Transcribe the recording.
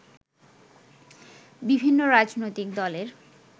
বিভিন্ন রাজনৈতিক দলের